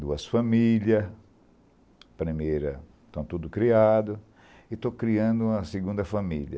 Duas famílias, primeira, estão tudo criado, e estou criando uma segunda família.